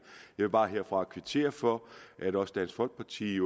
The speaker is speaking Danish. jeg vil bare herfra kvittere for at også dansk folkeparti